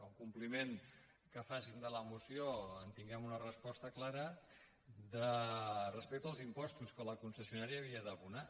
el compliment que facin de la moció en tinguem una resposta clara respecte als impostos que la concessionària havia d’abonar